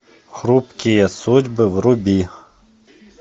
хрупкие судьбы вруби